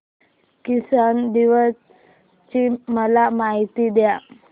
किसान दिवस ची मला माहिती दे